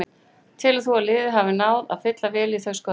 Telur þú að liðið hafi náð að fylla vel í þau skörð?